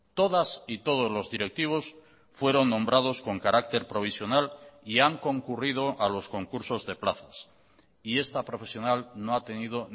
todas y todos los directivos fueron nombrados con carácter provisional y han concurrido a los concursos de plazas y esta profesional no ha tenido